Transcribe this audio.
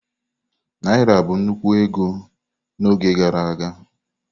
Naira bụ nnukwu ego na oge gara aga.